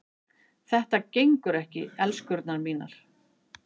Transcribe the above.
Þetta gengur ekki, elskurnar mínar.